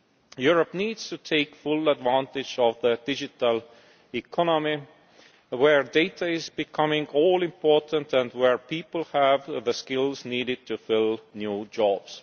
Europe needs to take full advantage of the digital economy where data is becoming all important and where people have the skills needed to fill new jobs.